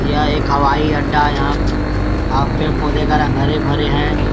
यह एक हवाई अड्डा है यहाँ पेड़-पौधे का रंग हरे-भरे हैं।